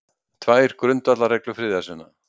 Tvær grundvallarreglur friðarsinna